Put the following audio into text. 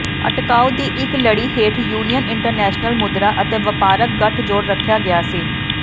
ਅਟਕਾਓ ਦੀ ਇੱਕ ਲੜੀ ਹੇਠ ਯੂਨੀਅਨ ਇੰਟਰਨੈਸ਼ਨਲ ਮੁਦਰਾ ਅਤੇ ਵਪਾਰਕ ਗਠਜੋੜ ਰੱਖਿਆ ਗਿਆ ਸੀ